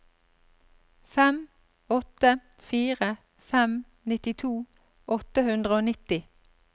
fem åtte fire fem nittito åtte hundre og nitti